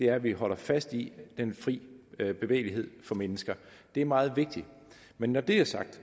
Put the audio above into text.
at vi holder fast i den fri bevægelighed for mennesker det er meget vigtigt men når det er sagt